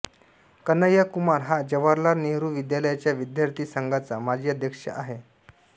कन्हैया कुमार हा जवाहरलाल नेहरू विद्यालयाच्या विद्यार्थी संघाचा माजी अध्यक्ष आहे